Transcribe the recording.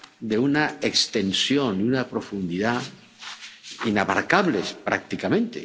de una extensión y una profundidad inabarcables prácticamente.